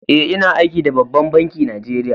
Eh, ina aiki da ɓabban banki Najeriya.